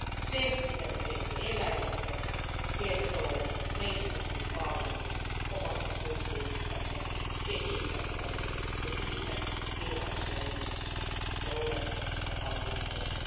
Se, mitä me teemme eläimille, kertoo meistä hyvin paljon, omasta kulttuuristamme, etiikastamme ja siitä, millaisia ihmisiä me olemme ja haluamme olla.